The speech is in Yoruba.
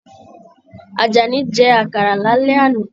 Ajání jẹ àkàrà lálẹ́ àná.